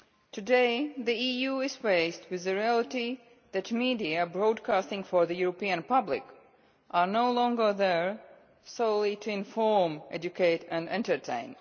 Today the EU is faced with the reality that the media broadcasting for the European public are no longer there solely to inform, educate and entertain.